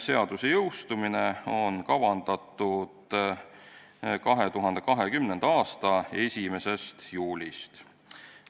Seadus on kavandatud jõustuma 2020. aasta 1. juulist.